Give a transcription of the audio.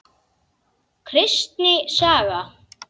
Kristni saga.